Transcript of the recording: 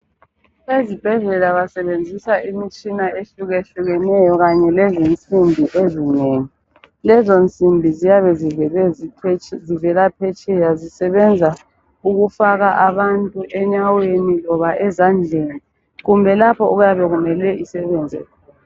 Ezibhedlela basebenzisa imitshina ehlukahlukeneyo kanye lezisimbi ezinengi, lezo msimbi ziyabe zivela phetsheya zisebenza ukufaka abantu enyaweni loba ezandleni kumbe lapho okuyabe kumele isebenze khona.